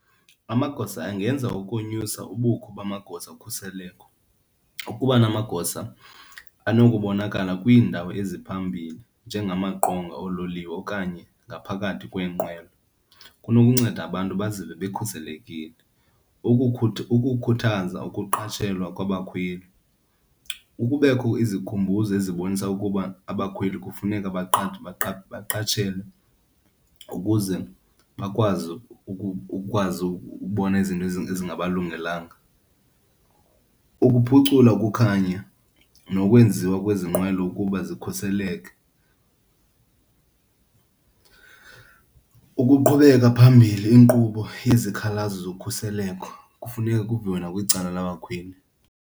Amagosa angenza ukonyusa ubukho bamagosa okhuseleko. Ukuba namagosa anokubonakala kwiindawo eziphambili njengamaqonga oololiwe okanye ngaphakathi kweenqwelo kunokunceda abantu bazive bekhuselekile. Ukukhuthaza ukuqatshelwa kwabakhweli. Kubekho izikhumbuzo ezibonisa ukuba abakhweli kufuneka baqashelwe ukuze bakwazi, ukwazi ukubona izinto ezingabalungelanga. Ukuphucula ukukhanya nokwenziwa kwezi nqwelo ukuba zikhuseleke. Ukuqhubeka phambili inkqubo yezikhalazo zokhuseleko kufuneka kuviwe nakwicala labakhweli.